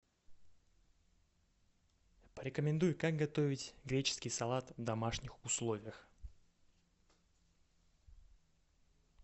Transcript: порекомендуй как готовить греческий салат в домашних условиях